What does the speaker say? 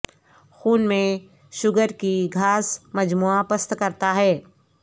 خون میں شوگر کی گھاس مجموعہ پست کرتا ہے